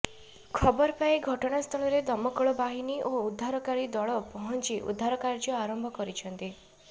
ଖବର ପାଇ ଘଟଣାସ୍ଥଳରେ ଦମକଳ ବାହିନୀ ଓ ଉଦ୍ଧାରକାରୀ ଦଳ ପହଞ୍ଚି ଉଦ୍ଧାର କାର୍ଯ୍ୟ ଆରମ୍ଭ କରିଛନ୍ତି